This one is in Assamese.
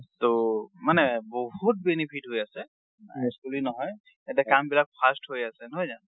ট মানে বহুত benefit হৈ আছে, বুলি নহয়। এতিয়া কামবিলাক fast হৈ আছে, নহয় জানো?